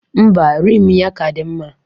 Ḿbà, Rim ya ka dị mma.